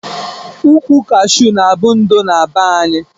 Ukwu kashu na abu ndo na be anyi.